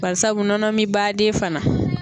Parisabu nɔnɔ min baden fana